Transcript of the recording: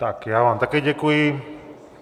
Tak já vám také děkuji.